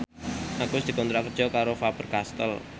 Agus dikontrak kerja karo Faber Castel